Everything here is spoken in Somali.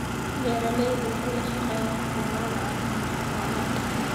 Beeraleydu waxay la shaqeeyaan khubarada caafimaadka xoolaha.